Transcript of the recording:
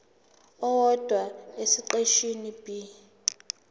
owodwa esiqeshini b